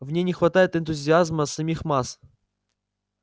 в ней не хватает энтузиазма самих масс